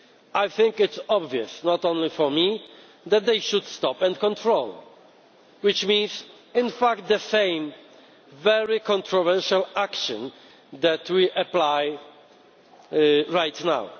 I think it is obvious not only for me that they should stop and control them, which means in fact the same very controversial action that we are applying right now.